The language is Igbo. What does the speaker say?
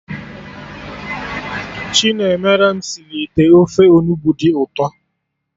Chinemerem sịrị ite ofe Onugbu dị ụtọ